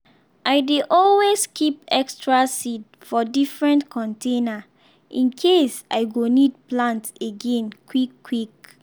i dey always keep extra seed for different container in case i go need plant again quick-quick.